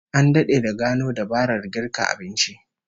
An dade da gano dabarar girka abinci